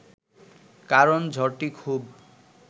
কারণ ঝড়টি খুব